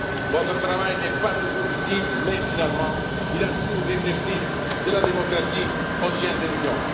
civile. Votre travail n'est pas toujours visible mais, finalement, il assure l'exercice de la démocratie au sein de l'Union.